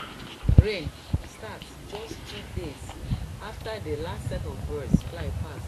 rain start just two days after dey last set of birds fly pass